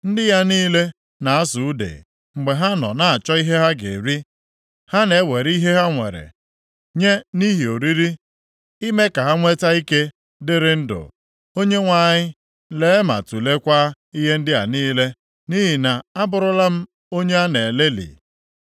Ndị ya niile na-asụ ude mgbe ha na-achọ ihe ha ga-eri. Ha na-ewere ihe ha nwere nye nʼihi oriri, ime ka ha nwee ike dịrị ndụ. “ Onyenwe anyị, lee, ma tuleekwa ihe ndị a niile, nʼihi na abụrụla m onye a na-elelị.”